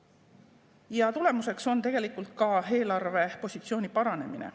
Ja tulemuseks on tegelikult eelarvepositsiooni paranemine.